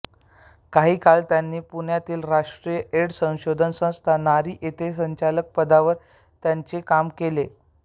काही काळ त्यांनी पुण्यातील राष्ट्रीय एड्स संशोधन संस्था नारी येथे संचालक पदावर त्यांनी काम केले